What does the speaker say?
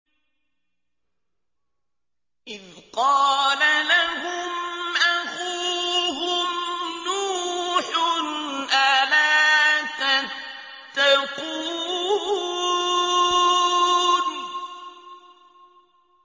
إِذْ قَالَ لَهُمْ أَخُوهُمْ نُوحٌ أَلَا تَتَّقُونَ